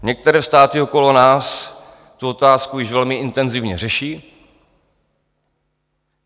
Některé státy okolo nás tuto otázku již velmi intenzivně řeší.